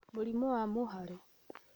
Mũrimũ wa Mũhare: